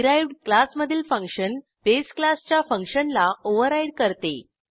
derived क्लासमधील function base क्लासच्या फंक्शनला ओव्हरराईड करते